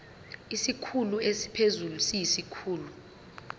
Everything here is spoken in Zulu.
isikhulu esiphezulu siyisikhulu